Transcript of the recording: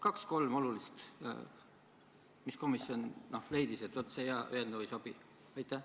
Noh, kaks-kolm olulist argumenti, miks komisjon leidis, et see hea eelnõu ei sobi?